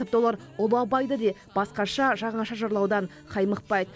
тіпті олар ұлы абайды де басқаша жаңаша жырлаудан қаймықпайды